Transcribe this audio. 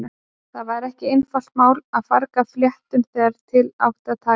Það var ekki einfalt mál að farga fléttum þegar til átti að taka.